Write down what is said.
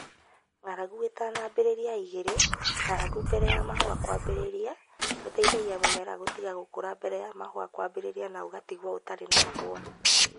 Ng'aragu ĩtanambĩrĩria 2 (ng'aragu mbere ya mahũa kwambĩrĩria) gũteithagia mũmera gũtiga gũkũra mbere ya mahũa kwambĩrĩria na ũgatigwo ũtarĩ na mahũa